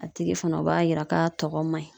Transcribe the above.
A tigi fana , o b'a yira k'a tigi tɔgɔ man ɲi.